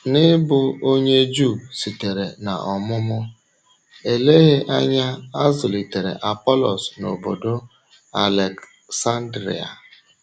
N’ịbụ onye Juu sitere n’ọmụmụ, èleghị anya a zụlitere Apọlọs n’ọ̀bọ̀dò Alèksándria.